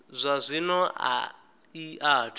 zwa zwino a i athu